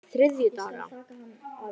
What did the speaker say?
þriðjudaga